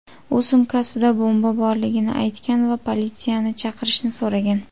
U sumkasida bomba borligini aytgan va politsiyani chaqirishni so‘ragan.